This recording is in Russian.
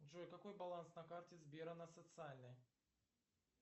джой какой баланс на карте сбера на социальной